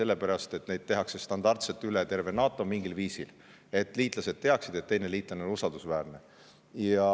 Need on kehtestatud standardselt üle terve NATO mingil kindlal viisil selleks, et liitlased teaksid, et teised osalised on usaldusväärsed.